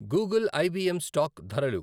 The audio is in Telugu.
Google I B M stock ధరలు